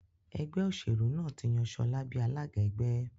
Ẹgbẹ́ òṣèlú náà tí yàn Shola bí alága ẹgbẹ́.